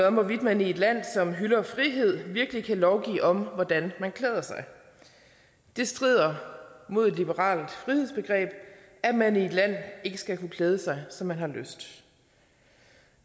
om hvorvidt man i et land som hylder frihed virkelig kan lovgive om hvordan man klæder sig det strider imod et liberalt frihedsbegreb at man i et land ikke skal kunne klæde sig som man har lyst